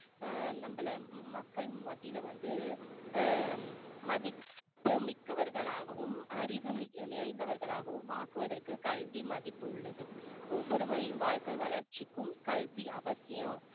ஆஹ் நம்மள மக்கள் மத்தியில வந்து ஆஹ் மதிப்பு மிக்கவர்களாகவும் அறிவு மிகு~ நிறைந்தவர்களாகவும் ஆக்குவதற்கு கல்வி மதிப்பு உள்ளது ஒவ்வொருவரின் வாழ்க்கை வளர்ச்சிக்கும் கல்வி அவசியம்